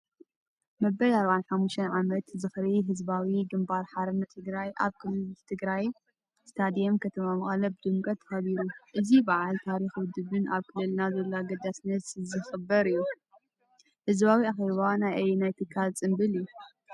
መበል 45 ዓመት ዝኽሪ ህዝባዊ ግንባር ሓርነት ትግራይ ኣብ ክልል ትግራይ ስታድየም ከተማ መቐለ ብድምቀት ተኸቢሩ። እዚ በዓል ታሪክ ውድብን ኣብ ክልልና ዘለዎ ኣገዳስነትን ዝኽበር እዩ። ህዝባዊ ኣኼባ ናይ ኣየናይ ትካል ጽምብል እዩ?